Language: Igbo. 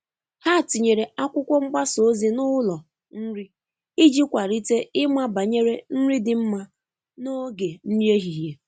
Ha tinyere akwụkwo mgbasa ozi n'ụlo nri iji kwalite ịma banyere nri di mma n'oge nri ehihie.